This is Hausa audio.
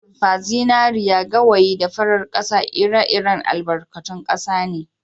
Azurfa, zinariya, gawayi da farar kasa ire- iren albarkatun kasa ne